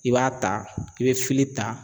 I b'a ta i bɛ ta.